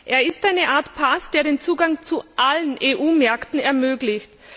Er ist eine Art Pass, der den Zugang zu allen EU Märkten ermöglicht.